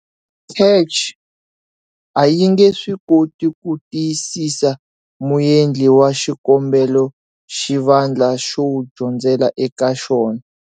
CACH a yi nge swi koti ku tiyisisa muendli wa xikombelo xivandla xo dyondzela eka xona.